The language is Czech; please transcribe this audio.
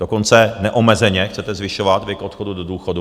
Dokonce neomezeně chcete zvyšovat věk odchodu do důchodu.